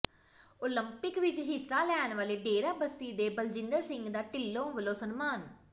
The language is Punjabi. ਉਲੰਪਿਕ ਵਿੱਚ ਹਿੱਸਾ ਲੈਂਣ ਵਾਲੇ ਡੇਰਾਬਸੀ ਦੇ ਬਲਜਿੰਦਰ ਸਿੰਘ ਦਾ ਢਿੱਲੋਂ ਵਲੋਂ ਸਨਮਾਨ